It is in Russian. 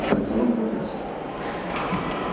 так она всё равно портится